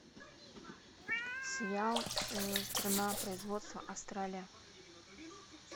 сериал страна производства австралия